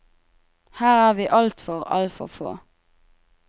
Her er vi altfor, altfor få.